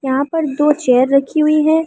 यहां पर दो चेयर रखी हुई है।